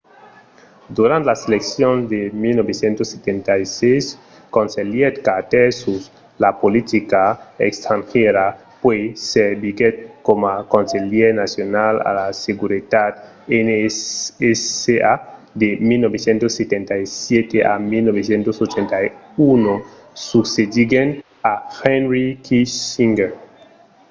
durant las seleccions de 1976 conselhèt carter sus la politica estrangièra puèi serviguèt coma conselhièr nacional a la seguretat nsa de 1977 a 1981 succediguent a henry kissinger